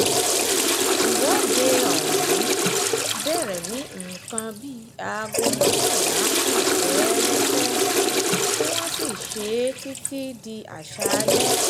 ìwọ́de ọ̀hún bẹ̀rẹ̀ ní nǹkan bíi aago mọ́kànlá kù fẹ́ẹ́rẹ́fẹ́ tí wọ́n sì ṣe é títí di aṣáálẹ̀